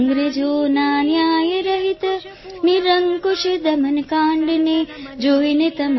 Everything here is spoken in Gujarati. અંગ્રેજોના ન્યાય રહિત નિરંકુશ દમનકાંડને જોઇને